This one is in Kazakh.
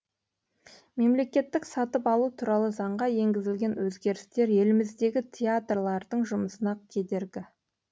мемлекеттік сатып алу туралы заңға енгізілген өзгерістер еліміздегі театрлардың жұмысына кедергі